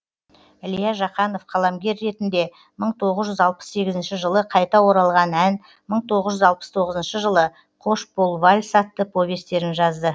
ілия жақанов қаламгер ретінде мың тоғыз жүз алпыс сегізінші жылы қайта оралған ән мың тоғыз жүз алпыс тоғызыншы жылы қош бол вальс атты повестерін жазды